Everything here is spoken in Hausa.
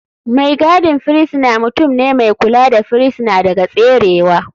Mai gadin firisina mutum ne mai kula da firisina daga tserewa.